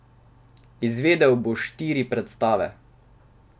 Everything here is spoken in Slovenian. Izvedel bo štiri predstave.